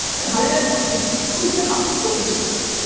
ársleigan var tvö þúsund gullpeningar